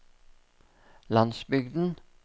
landsbygden